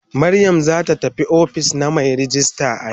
Mariam zata tafi ofis na mai rejista yau.